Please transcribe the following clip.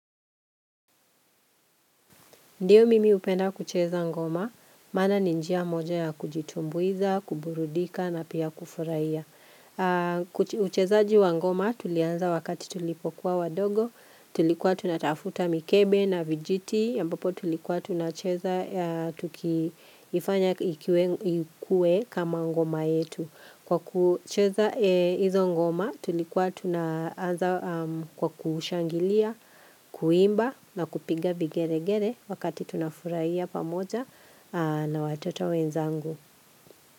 Ndiyo mimi upenda kucheza ngoma, maana ni njia moja ya kujitumbuiza, kuburudika na pia kufuraiya. Ucheza jiwa ngoma tulianza wakati tulipokuwa wadogo, tulikuwa tunatafuta mikebe na vijiti, ambapo tulikuwa tunacheza tukiifanya ikuwe kama ngoma yetu. Kwa kucheza hizo ngoma, tulikuwa tunaanza kwa kushangilia, kuimba na kupiga vi gere gere wakati tunafuraiya pamoja na watoto wenzangu.